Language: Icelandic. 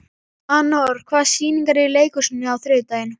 Anor, hvaða sýningar eru í leikhúsinu á þriðjudaginn?